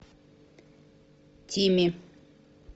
тими